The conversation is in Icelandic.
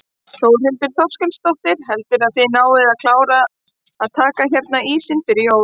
Þórhildur Þorkelsdóttir: Heldurðu að þið náið að klára að taka hérna ísinn fyrir jól?